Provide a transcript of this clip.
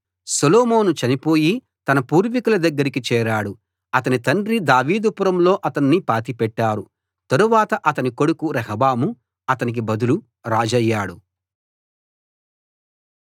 సొలొమోను చనిపోయి తన పూర్వీకుల దగ్గరికి చేరాడు అతని తండ్రి దావీదు పురంలో అతన్ని పాతిపెట్టారు తరువాత అతని కొడుకు రెహబాము అతనికి బదులు రాజయ్యాడు